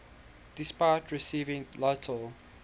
despite receiving little